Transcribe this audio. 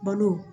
Balo